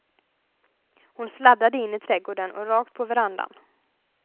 Hon sladdade in i trädgården och rakt på verandan.